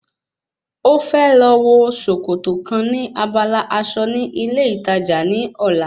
Ó fẹ́ lọ wo sòkòtò kan ní abala aṣọ ní ilé ìtajà ní ọ̀la